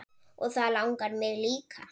Og það langar mig líka.